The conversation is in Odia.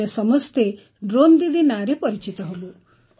ଆମେ ସମସ୍ତେ ଡ୍ରୋନ୍ ଦିଦି ନାଁରେ ପରିଚିତ ହେବୁ